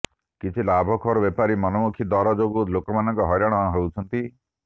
କିଛି ଲାଭଖୋର ବେପାରୀଙ୍କ ମନମୁଖୀ ଦର ଯୋଗୁଁ ଲୋକମାନେ ହଇରାଣ ହେଉଛନ୍ତି